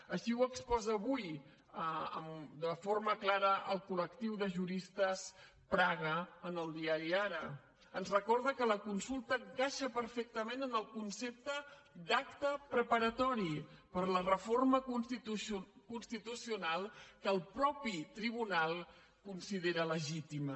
així ho exposa avui de forma clara el colristes praga en el diari arasulta encaixa perfectament en el concepte d’acte preparatori per a la reforma constitucional que el mateix tribunal considera legítima